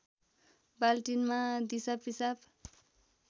बाल्टिनमा दिसा पिसाब